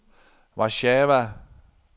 Warszawa